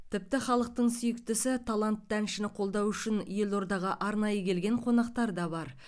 тіпті халықтың сүйіктісі талантты әншіні қолдау үшін елордаға арнайы келген қонақтар да бар